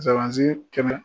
kɛmɛ